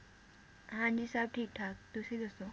ਹਾਂਜੀ ਸਬ ਠੀਕ-ਠਾਕ ਤੁਸੀਂ ਦੱਸੋ